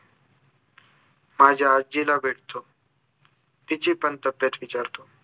माझ्या आज्जीला भेटतो तिची पण तब्येत विचारतो